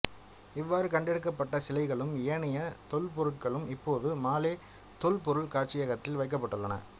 இவ்வாறு கண்டெடுக்கப்பட்ட சிலைகளும் ஏனைய தொல்பொருட்களும் இப்போது மாலே தொல்பொருள் காட்சியகத்தில் வைக்கப்பட்டுள்ளன